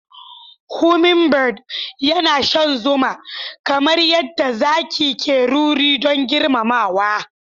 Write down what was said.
hummingbird yana shan zuma, kamar yadda zaki ke ruri don girmamawa.